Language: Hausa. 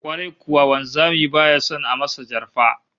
Kwarai kuwa, wanzami baya son a masa jarfa